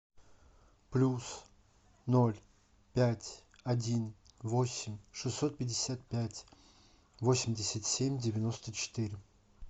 плюс ноль пять один восемь шестьсот пятьдесят пять восемьдесят семь девяносто четыре